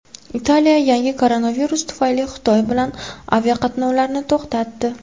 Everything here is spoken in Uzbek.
Italiya yangi koronavirus tufayli Xitoy bilan aviaqatnovlarni to‘xtatdi.